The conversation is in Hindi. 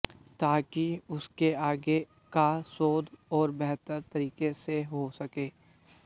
ताकि उसके आगे का शोध और बेहतर तरीके से हो सके